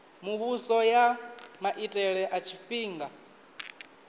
muvhuso ya maitele a tshifhinga